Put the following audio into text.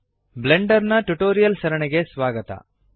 Blender ನ tutorial ಸರಣಿಗೆ ಸ್ವಾಗತ